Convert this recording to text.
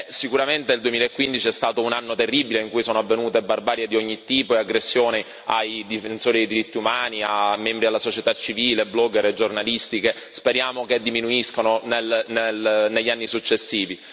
Sicuramente il 2015 è stato un anno terribile, in cui sono avvenute barbarie di ogni tipo e aggressioni ai difensori diritti umani, a membri alla società civile, blogger e giornalisti che, speriamo, diminuiscano negli anni successivi.